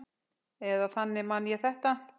Eða þannig man ég þetta.